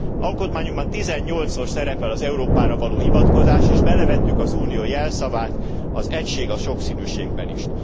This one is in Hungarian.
Alkotmányunkban tizennyolcszor szerepel az Európára való hivatkozás, és belevettük az Unió jelszavát, az Egység a sokszínűségben t is.